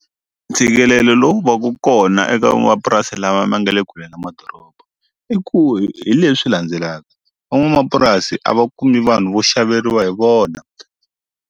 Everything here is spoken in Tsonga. Ntshikelelo lowu va ku kona eka lava ma nga le kule na madoroba i ku hi leswi landzelaka van'wamapurasi a va kumi vanhu vo xaveriwa hi vona.